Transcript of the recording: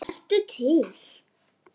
Vertu til.